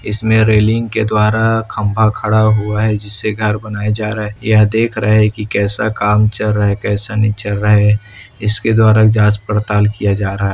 इसमें रेलिंग के द्वारा खंबा खड़ा हुआ है जिससे घर बनाया जा रहा है यह देख रहा है कि कैसा काम चल रहा है कैसा नहीं चल रहा है इसके द्वारा जांच पड़ताल किया जा रहा--